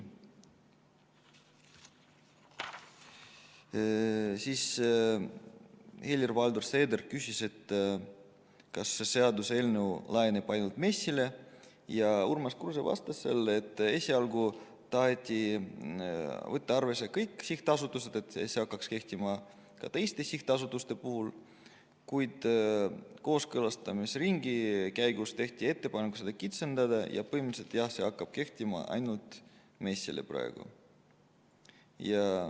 Helir-Valdor Seeder küsis, kas see seaduseelnõu laieneb ainult MES-ile, ja Urmas Kruuse vastas jälle, et esialgu taheti võtta arvesse kõiki sihtasutusi, nii et see hakkaks kehtima ka teiste sihtasutuste puhul, kuid kooskõlastusringi käigus tehti ettepanek seda kitsendada ja põhimõtteliselt, jah, see hakkab kehtima praegu ainult MES-ile.